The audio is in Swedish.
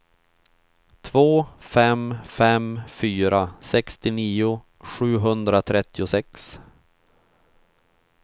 två fem fem fyra sextionio sjuhundratrettiosex